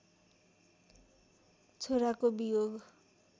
छोराको वियोग